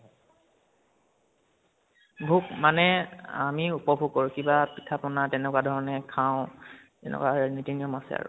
ভোগ মানে আমি উপভোগ কৰো কিবা পিঠা পনা তেনেকুৱা ধৰণে খাও, তেনেকুৱা সেই নিতি নিয়ম আছে আৰু।